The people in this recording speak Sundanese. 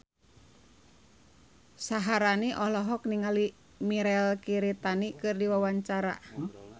Syaharani olohok ningali Mirei Kiritani keur diwawancara